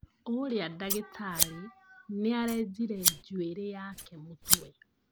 Ũrĩa dagĩtarĩ nĩarenjire njuĩrĩ yake mũtwe